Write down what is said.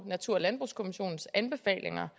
natur og landbrugskommissionens anbefalinger